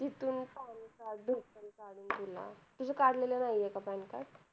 तिथून PAN card ration card, वगैरे तुझं काढलेलं नाहीये का PAN card?